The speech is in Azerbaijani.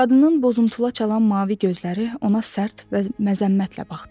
Qadının bozuntula çalan mavi gözləri ona sərt və məzəmmətlə baxdı.